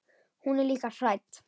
Hún er líka hrædd.